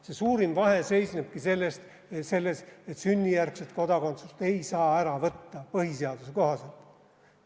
See suurim vahe seisnebki selles, et sünnijärgset kodakondsust ei saa põhiseaduse kohaselt ära võtta.